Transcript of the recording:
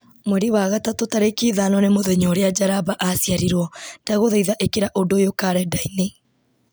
mweri wa gatatũ tarĩki ithano nĩ mũthenya ũrĩa njaramba aciarirwo ndagũthaitha ĩkĩra ũndũ ũyũ karenda-inĩ